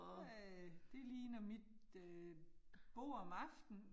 Ja, det ligner mit øh bord om aftenen